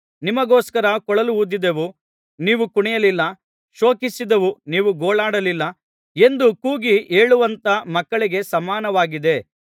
ನಿಮಗೋಸ್ಕರ ಕೊಳಲೂದಿದೆವು ನೀವು ಕುಣಿಯಲಿಲ್ಲ ಶೋಕಿಸಿದೆವು ನೀವು ಗೋಳಾಡಲಿಲ್ಲ ಎಂದು ಕೂಗಿ ಹೇಳುವಂಥ ಮಕ್ಕಳಿಗೆ ಸಮಾನವಾಗಿದೆ